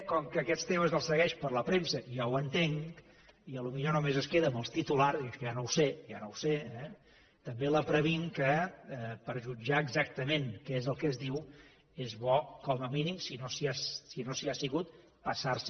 com que aquests temes els segueix per la premsa i jo ho entenc i potser només es queda amb els titulars i això ja no ho sé ja no ho sé eh també la previnc que per a jutjar exactament què és el que es diu és bo com a mínim si no s’hi ha sigut passar se